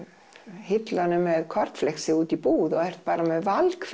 hillunum með kornfleksi út í búð og er bara með